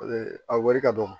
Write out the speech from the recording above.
a wari ka dɔgɔ